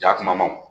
Ja kumaba wo